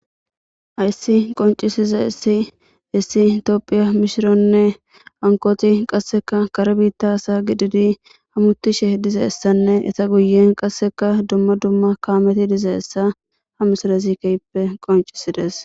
Hayssi qoncisiza issi issi tophiya mishironne ankoti qasseka kare biitta asa gididi hamutishe diza essanne eta guyen qasseka dumma dumma kaameti dizaessa ha misala zikeyppe qoncisides.